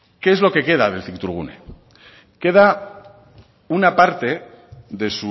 qué es lo que queda del cictourgune queda una parte de